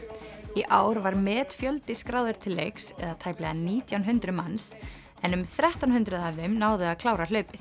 í ár var metfjöldi skráður til leiks eða tæplega nítján hundruð manns en um þrettán hundruð af þeim náðu að klára hlaupið